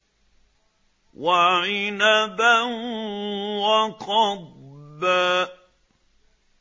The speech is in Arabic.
وَعِنَبًا وَقَضْبًا